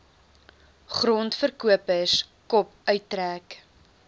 grondverkopers kop uittrek